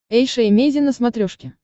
эйша эмейзин на смотрешке